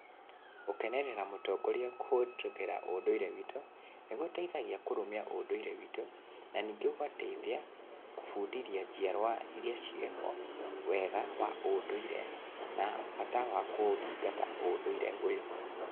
Gũkenerera mũtongoria kũhĩtũkĩra ũndũire witũ, nĩ gũteithagia kũrũmia ũnduire witũ, na ningĩ gũgateithia gũbundithia njiarwa iria ciĩho wega wa ũndũire na bata wa kũũthingata ũndũire ũyũ.